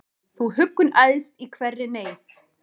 Þú huggun æðst í hverri neyð,